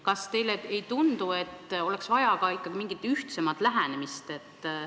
Kas teile ei tundu, et oleks vaja ikka mingit ühtsemat lähenemist?